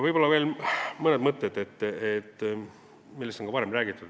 Võib-olla veel mõned mõtted, millest on ka varem räägitud.